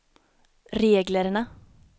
reglerna